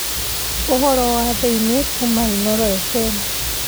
ũhoro wa thĩinĩ kuuma inooro fm